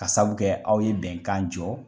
Ka sabu kɛ aw ye bɛnkan jɔ.